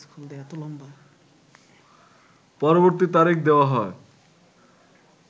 পরবর্তী তারিখ দেওয়া হয়